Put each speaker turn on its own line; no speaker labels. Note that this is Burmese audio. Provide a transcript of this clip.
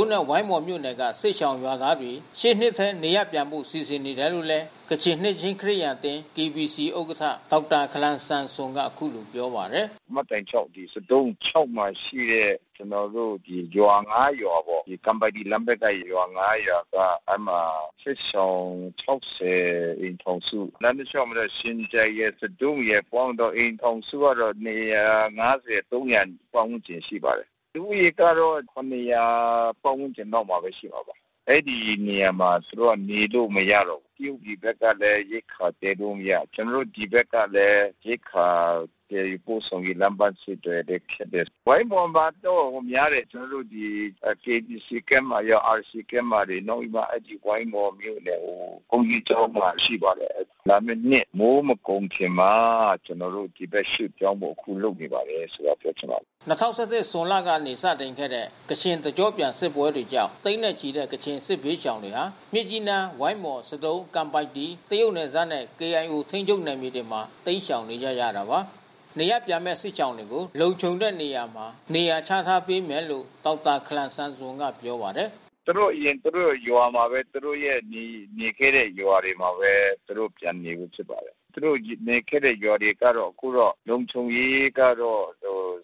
ံးနဲ့ ဝိုင်းမော်မြို့နယ်က ကချင်စစ်ရှောင်ဒုက္ခသည်တွေ ရှေ့နှစ်ထဲ နေရပ်ပြန်ဖို့စီစဉ်နေတယ်လို့ ကချင်နှစ်ခြင်းခရစ်ယာန်အသင်း ဥက္ကဌ ဒေါက်တာ ခလန်ဆန်ဆွမ်က ဗွီအိုအေကို အခုလိုပြောပါတယ်။ “မှတ်တိုင် ပေါ့ ဆဒုံး မှာရှိတဲ့ ကျွန်တော်တို့ရွာ ရွာပေါ့
။ ကန်ပိုက်တီလမ်းဖက်ကရွာ ရွာက အဲဒီမှာစစ်ရှောင် အိမ်ထောင်စု။ လမ်းတလျှောက်မှာတော့ ရှင်ကြိုင်ရယ် ကဇုရယ် ပေါင်းရင်တော့ အိမ်ထောင်စုကတော့ ပတ်ဝန်းကျင်ရှိပါတယ်။ လူဦးရေကတော့ ပတ်ဝန်းကျင်လောက်မှာရှိမှာပါ။ အဲဒီနေရာမှာသူတို့နေလို့ မရတော့ဘူး။ တရုတ်ပြည်ဖက်ကလဲရိက္ခာသယ်လို့မရ။ ကျွန်တော်တို့ဆီဖက်ကလဲ ရိက္ခာသယ်ယူပို့ဆောင်ရေး လမ်းပမ်းဆက်သွယ်လဲခက်တယ်။ ဝိုင်းမော်မှာတော့များတယ်။ ကျွန်တော်တို့KBC Camp မှာရော RC Campမှာတွေ နောက်ပြီးမှ အဲဒီဝိုင်းမော်မြို့နယ်ဘုန်းကြီးကျောင်းမှာရှိပါတယ်။ လာမဲ့နှစ်မိုးမကုန်ခင်မှာ ကျွန်တော်တို့ရွှေ့ပြောင်းဖို့ အခုလုပ်နေပါတယ်ဆိုတာပြောချင်ပါတယ်
။” ၂၀၁၁ ဇွန်လကနေစတင်ခဲ့တဲ့ ကချင်တကျော့ပြန်စစ်ပွဲကြောင့် သိန်းနဲ့ချီတဲ့ ကချင်စစ်ဘေးရှောင်တွေဟာ မြစ်ကြီးနား ဝိုင်းမော် ဆဒုံး ကန်ပိုက်တီ တရုတ်နယ်စပ်နဲ့ KIOထိန်းချုပ်နယ်မြေတွေမှာတိမ်းရှောင်နေကြရတာပါ။နေရပ်ပြန်မဲ့စစ်ရှောင်တွကို လုံခြုံတဲ့နေရာမှာနေရာချထားပေးမယ်လို့ ဒေါက်တာခလန်ဆမ်ဆွန်ကပြောပါတယ်။
“သူတို့အရင်သူတို့ရွာမှာဘဲ သူတို့နေခဲ့တဲ့ရွာတွေမှာဘဲ သူတို့ပြန်နေဖို့ဆိုပါတယ်။ သူတို့နေခဲ့တဲ့ရွာတွေကတော့ အခုတော့ လုံခြုံရေးကတော့